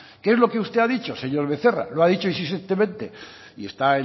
que es lo que usted ha dicho señor becerra lo ha dicho insistentemente y está